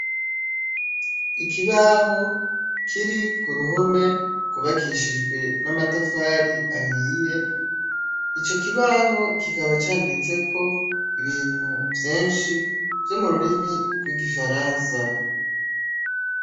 Ikibaho kiri kuruhome gwubakishijwe n'amatafari ahiye, ico kibaho kikaba canditseko ibintu vyinshi vyo mururimi gw'igifaransa